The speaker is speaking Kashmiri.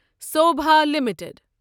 سوبھا لِمِٹڈ